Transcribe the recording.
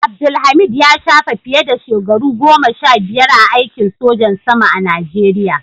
Abdulhameed ya shafe fiye da shekaru goma sha biyar a aikin sojan saman a najeriya.